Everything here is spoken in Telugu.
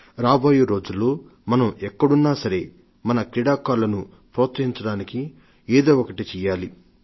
రాబోయే రోజుల్లో మనం ఎక్కడున్నా సరే మన క్రీడాకారులను ప్రోత్సహించడానికి ఏదో ఒకటి చెయ్యాలి